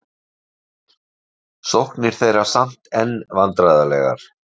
Sóknir þeirra samt enn vandræðalegar